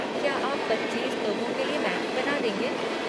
क्या आप पच्चीस लोगों के लिए मैगी बना देंगे?